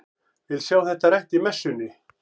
Vil sjá þetta rætt í messunni!